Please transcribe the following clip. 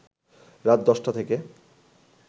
রাত ১০টা থেকে